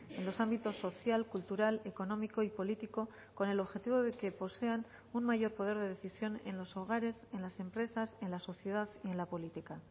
en los ámbitos social cultural económico y político con el objetivo de que posean un mayor poder de decisión en los hogares en las empresas en la sociedad y en la política